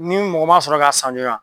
Ni mɔgɔ ma sɔrɔ k'a san joona